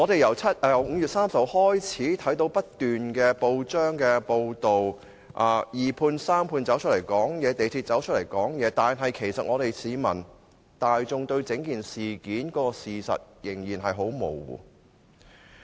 由5月30日開始，不斷有報章報道二判、三判及香港鐵路有限公司的說話，但市民大眾對整件事件的事實仍然很模糊。